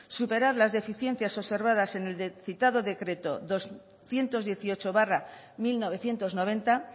superar las deficiencias observadas en el citado decreto doscientos dieciocho barra mil novecientos noventa